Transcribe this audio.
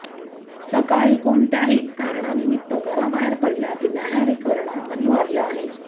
सकाळी कोणत्याही कारणानिमित्त घराबाहेर पडण्याआधी न्याहरी करणं अनिवार्य आहे